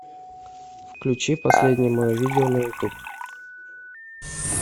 включи последнее мое видео на ютуб